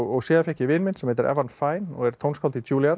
síðan fékk ég vin minn sem heitir Evan Fein og er tónskáld í